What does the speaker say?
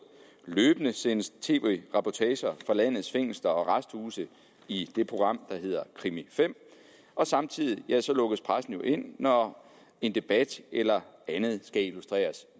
løbende sendes der tv reportager fra landets fængsler og arresthuse i det program der hedder krimi fem og samtidig lukkes pressen jo ind når en debat eller andet skal illustreres